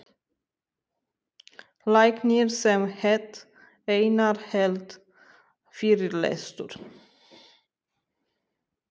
Læknir sem hét Einar hélt fyrirlestur.